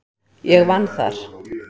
Ég vann þar.